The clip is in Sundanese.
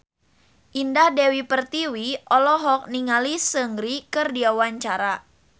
Indah Dewi Pertiwi olohok ningali Seungri keur diwawancara